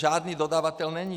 Žádný dodavatel není.